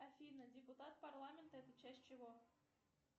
афина депутат парламента это часть чего